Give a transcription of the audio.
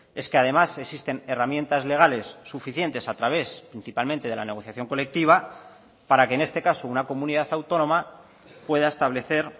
es que además existen herramientas legales suficientes a través principalmente de la negociación colectiva para que en este caso una comunidad autónoma pueda establecer